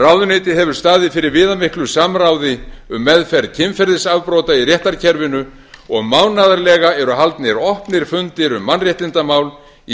ráðuneytið hefur staðið fyrir viðamiklu samráði um meðferð kynferðisafbrota í réttarkerfinu og mánaðarlega eru haldnir opnir fundir um mannréttindamál